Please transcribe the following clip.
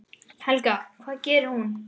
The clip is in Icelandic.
Helga: Hvað gerir hún?